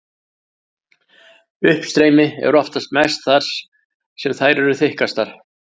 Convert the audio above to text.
Uppstreymi er oftast mest þar sem þær eru þykkastar.